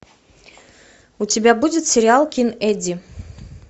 у тебя будет сериал кин эдди